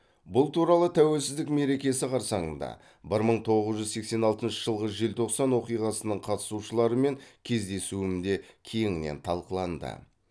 бұл туралы тәуелсіздік мерекесі қарсаңында бір мың тоғыз жүз сексен алтыншы жылғы желтоқсан оқиғасының қатысушыларымен кездесуімде кеңінен талқыланды